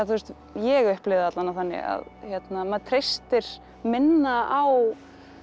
ég upplifi það alla vega þannig að maður treystir minna á